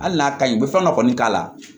Hali n'a ka ɲi u bɛ fɛn dɔ kɔni k'a la